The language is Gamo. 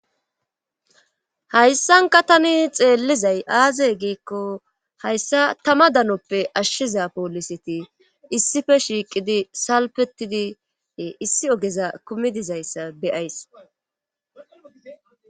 hayssankka tani xeellizay aaze giikko hayssa tama danoppe ashshiza poolisiti issippe shiiqidi salfetidie issi oogeza kumidizayssa be'ays